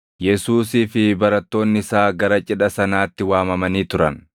Yesuusii fi barattoonni isaa gara cidha sanaatti waamamanii turan.